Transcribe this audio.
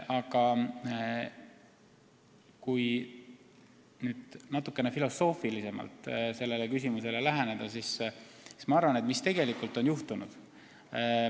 Kui nüüd natuke filosoofilisemalt sellele küsimusele läheneda, siis mis on tegelikult juhtunud?